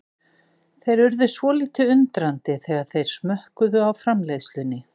Þeir urðu svolítið undrandi þegar þeir smökkuðu á framleiðslunni.